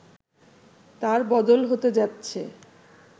তার বদল হতে যাচ্ছে